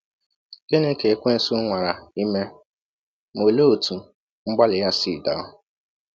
Gịnị ka ekwensu nwara ime, ma olee otú mgbalị ya si daa?